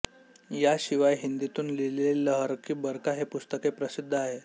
या शिवाय हिंदीतून लिहिलेले लहरकी बरखा हे पुस्तकही प्रसिद्ध आहे